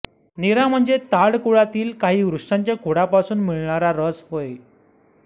नीरा म्हणजे ताड कुळातील काही वृक्षांच्या खोडापासून मिळणारा रस होय